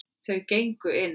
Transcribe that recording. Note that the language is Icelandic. Þau gengu inn.